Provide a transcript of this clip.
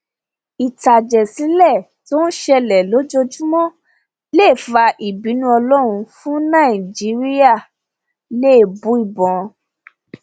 ìtàjẹsílẹ tó ń ṣẹlẹ lójoojúmọ lè fa ìbínú ọlọrun fún nàìjíríàẹlẹbùíbọn